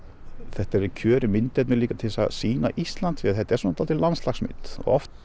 þetta er kjörið myndefni líka til að sýna Ísland því þetta er svona svolítið landslagsmynd oft